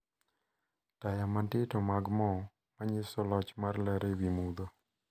Taya matindo mag mo manyiso loch mar ler ewi mudho.